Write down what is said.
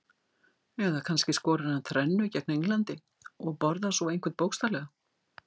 Eða kannski skorar hann þrennu gegn Englandi og borðar svo einhvern bókstaflega?